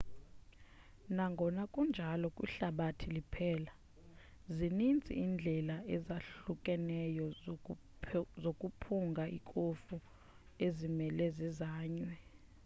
nangona kunjalo kwihlabathi liphela zininzi iindlela ezahlukahlukeneyo zokuphunga ikofu ezimele zizanywe